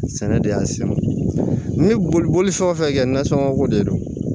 Sɛnɛ de y'a se ma ne ye bolifɛn o fɛn kɛ nasɔngɔko de don